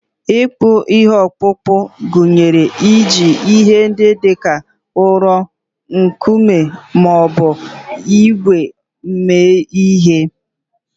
Ịkpụ ihe okpukpu gụnyere iji ihe ndị dị ka ụrọ, nkume, ma ọ bụ ígwè eme ihe.